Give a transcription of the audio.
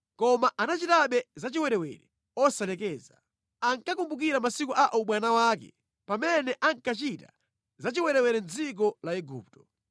Koma anachitabe zachiwerewere osalekeza. Ankakumbukira masiku a ubwana wake pamene ankachita za chiwerewere mʼdziko la Igupto.